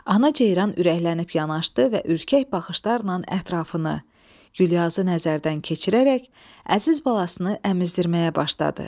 Ana ceyran ürəklənib yanaşdı və ürkək baxışlarla ətrafını, Güllyazı nəzərdən keçirərək əziz balasını əmizdirməyə başladı.